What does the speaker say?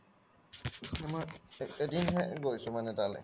এদিন হে গৈছো মানে তালে